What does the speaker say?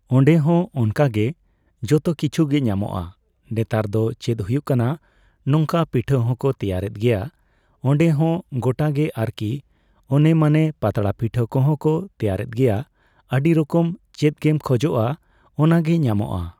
ᱚᱸᱰᱮ ᱦᱚᱸ ᱚᱱᱠᱟᱜᱮ ᱾ ᱡᱚᱛᱚ ᱠᱤᱪᱷᱩ ᱜᱮ ᱧᱟᱢᱚᱜᱼᱟ ᱾ ᱱᱮᱛᱟᱨ ᱫᱚ ᱪᱮᱫ ᱦᱩᱭᱩᱜ ᱠᱟᱱᱟ ᱱᱚᱝᱠᱟ ᱯᱤᱴᱷᱟᱹ ᱦᱚᱸᱠᱚ ᱛᱮᱭᱟᱨᱮᱫ ᱜᱮᱭᱟ ᱚᱸᱰᱮ ᱦᱚᱸ ᱾ᱜᱚᱴᱟᱜᱮ ᱟᱨᱠᱤ ᱾ ᱚᱱᱮ ᱢᱟᱱᱮ ᱯᱟᱛᱲᱟ ᱯᱤᱴᱷᱟᱹ ᱠᱚᱦᱚᱸ ᱠᱚ ᱛᱮᱭᱟᱨᱮᱫ ᱜᱮᱭᱟ ᱟᱹᱰᱤ ᱨᱚᱠᱚᱢ ᱾ ᱪᱮᱫ ᱜᱮᱢ ᱠᱷᱚᱡᱚᱜᱼᱟ ᱚᱱᱟᱜᱮ ᱧᱟᱢᱚᱜᱼᱟ ᱾